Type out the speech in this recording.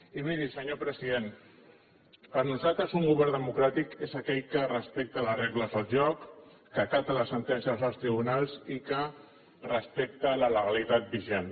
i miri senyor president per nosaltres un govern democràtic és aquell que respecta les regles del joc que acata les sentències dels tribunals i que respecta la legalitat vigent